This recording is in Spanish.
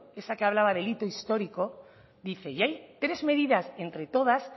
esa que hablaba del hito histórico dice y hay tres medidas entre todas